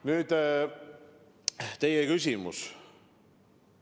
Nüüd teie küsimusest.